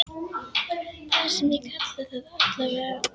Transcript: Það sem ég kalla það, allavega.